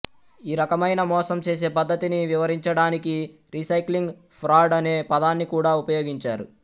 ఈ రకమైన మోసం చేసే పద్ధతిని వివరించడానికి రీసైక్లింగ్ ఫ్రాడ్ అనే పదాన్ని కూడా ఉపయోగించారు